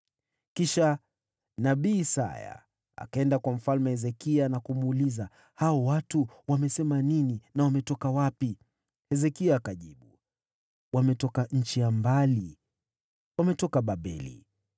Ndipo nabii Isaya akaenda kwa Mfalme Hezekia na kumuuliza, “Watu hao walisema nini, na wametoka wapi?” Hezekia akamjibu, “Wametoka nchi ya mbali. Walikuja kutoka Babeli.”